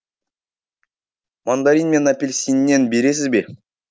мандарин мен апельсиннен бересіз бе